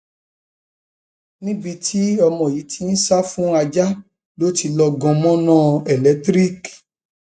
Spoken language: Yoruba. níbi tí ọmọ yìí ti ń sá fún ajá ló ti lọọ gan mọnà eléńtìríìkì